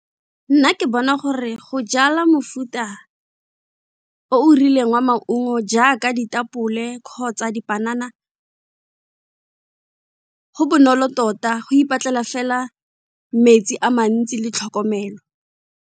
Nna ke bona gore go jala mofuta o o rileng wa maungo jaaka ditapole kgotsa dipanana, go bonolo tota go ipatlela fela metsi a mantsi le tlhokomelo.